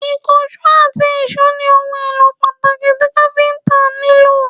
ikanṣo ati ìsó ni ohun elo pataki ti Káfíntà nilo